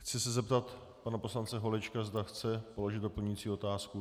Chci se zeptat pana poslance Holečka, zda chce položit doplňující otázku.